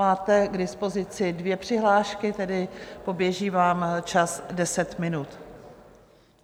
Máte k dispozici dvě přihlášky, tedy poběží vám čas deset minut.